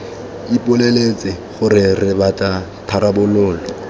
ipoleletse gore re batla tharabololo